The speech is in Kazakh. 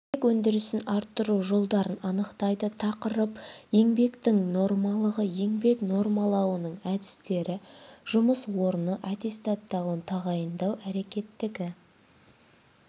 еңбек өндірісін арттыру жолдарын анықтайды тақырып еңбектің нормалығы еңбек нормалауының әдістері жұмыс орны аттестаттауын тағайындау әрекеттегі